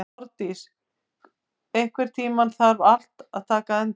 Árndís, einhvern tímann þarf allt að taka enda.